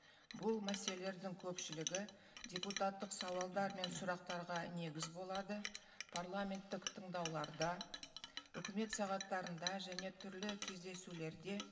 бұл мәселелердің көпшілігі депутаттық сауалдар мен сұрақтарға негіз болады парламенттік тыңдауларда үкімет сағаттарында және түрлі кездесулерде